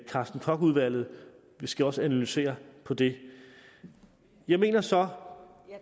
carsten koch udvalget skal også analysere på det jeg mener så